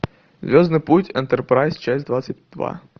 звездный путь энтерпрайз часть двадцать два